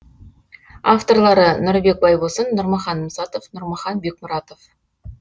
авторлары нұрбек байбосын нұрмахан мұсатов нұрмахан бекмұратов